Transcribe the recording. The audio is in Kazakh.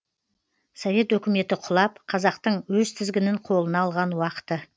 совет өкіметі құлап қазақтың өз тізгінін қолына алған уақыты